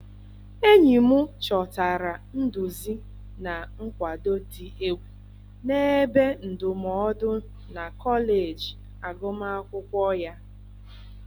Enyi m chọtara nduzi na nkwado dị egwu na ebe ndụmọdụ na kọleji agụmakwụkwọ ya.